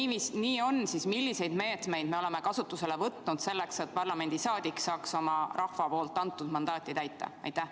Ja kui see nii on, siis milliseid meetmeid me oleme võtnud selleks, et parlamendiliige saaks oma rahva antud mandaati täita?